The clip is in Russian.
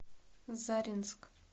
заринск